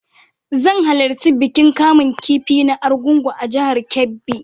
Zan halarci bikin kamun kifi na Argungun a jihar Kebbi.